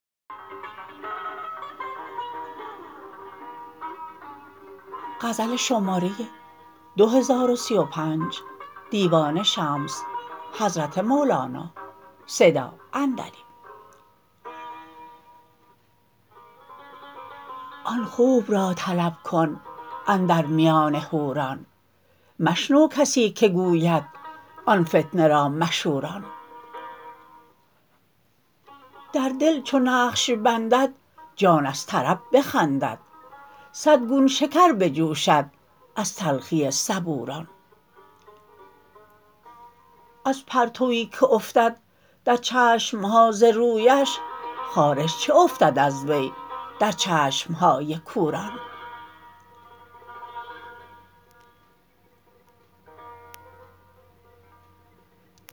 آن خوب را طلب کن اندر میان حوران مشنو کسی که گوید آن فتنه را مشوران در دل چو نقش بندد جان از طرب بخندد صد گون شکر بجوشد از تلخی صبوران از پرتوی که افتد در چشم ها ز رویش خارش چه افتد از وی در چشم های کوران